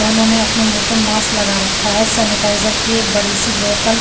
दोनों ने अपने मुह पर मास लगा रखा हे सेनेताइज की एक बड़ी सी बोतल --